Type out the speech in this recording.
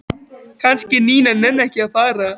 Kannski Nína nenni ekki að fara.